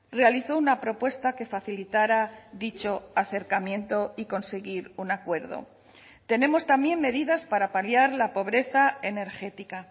realizó una propuesta que facilitara dicho acercamiento y conseguir un acuerdo tenemos también medidas para paliar la pobreza energética